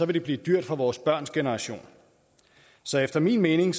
det blive dyrt for vores børns generation så efter min mening